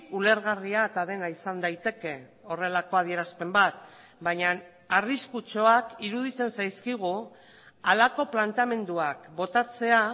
ulergarria eta dena izan daiteke horrelako adierazpen bat baina arriskutsuak iruditzen zaizkigu halako planteamenduak botatzea